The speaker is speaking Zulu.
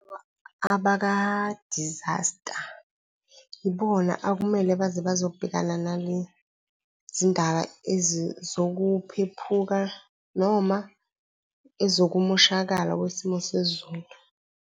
Abaka-disaster yibona okumele bazobhekana nalezi ndaba zokuphephuka noma ezokumoshakala kwesimo sezulu.